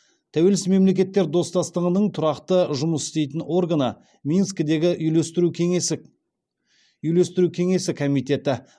тәуелсіз мемлекеттер достастығының тұрақты жұмыс істейтін органы минскідегі үйлестіру кеңесі үйлестіру кеңесі комитеті